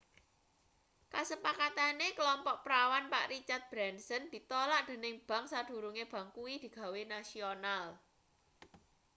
kasepakatane klompok prawan pak richard branson ditolak dening bank sadurunge bank kuwi digawe nasional